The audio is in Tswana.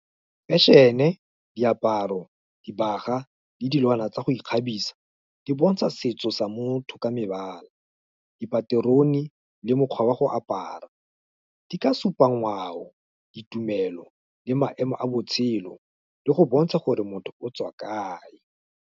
fashion-e, diaparo, dibaga, le dilwana tsa go ikgabisa, di bontsha setso sa motho ka mebala, dipaterone, le mokgwa wa go apara, di ka supa ngwao, ditumelo, le maemo a botshelo, le go bontsha gore motho o tswa kae.